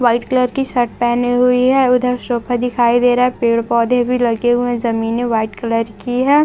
White colour की shirt पहनी हुई है उधर सोफा दिखाई दे रहा है पेड़ पौधे भी लगे हुए हैं जमीने वाइट कलर की है।